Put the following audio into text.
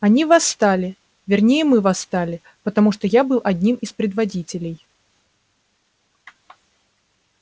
они восстали вернее мы восстали потому что я был одним из предводителей